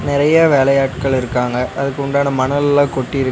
நெறையா வேலையாட்கள் இருக்காங்க அதுக்குன்டான மணல்லா கொட்டிருக்.